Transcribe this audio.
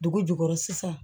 Dugu jukɔrɔ sisan